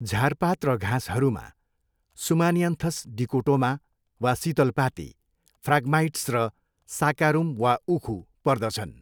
झारपात र घाँसहरूमा सुमानियानथस डिकोटोमा वा सितलपाती, फ्राग्माइट्स र साकारुम वा उखु पर्दछन्।